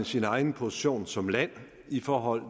sin egen position som land i forhold